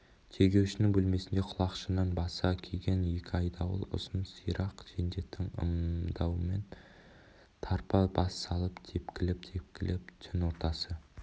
тергеушінің бөлмесінде құлақшынын баса киіген екі айдауыл ұзын сирақ жендеттің ымдауымен тарпа бас салып тепкілеп-тепкілеп түн ортасы